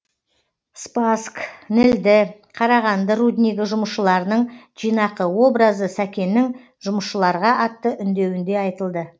спасск нілді қарағанды руднигі жұмысшыларының жинақы образы сәкеннің жұмысшыларға атты үндеуінде айтылды